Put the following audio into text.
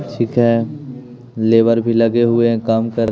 ठीक है लेबर भी लगे हुए हैं काम कर --